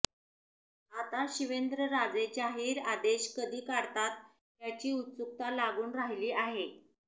आता शिवेंद्रराजे जाहीर आदेश कधी काढतात याची उत्सुकता लागून राहिली आहे